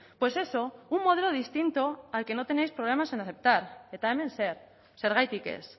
pues eso un modelo distinto al que no tenéis problemas en aceptar eta hemen zer zergatik ez